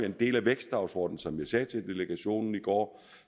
en del af vækstdagsordenen som jeg sagde til delegationen i går